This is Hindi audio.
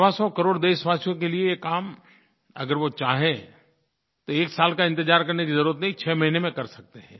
सवासौ करोड़ देशवासियों के लिये ये काम अगर वो चाहें तो एक साल का इंतज़ार करने की ज़रूरत नहीं छः महीने में कर सकते हैं